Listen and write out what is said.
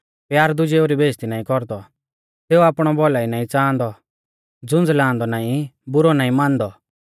प्यार दुजेऊ री बेइज़्ज़ती नाईं कौरदौ सेऊ आपणौ भौलाई नाईं च़ांहादौ झुंझलांदौ नाईं बुरौ नाईं मानदौ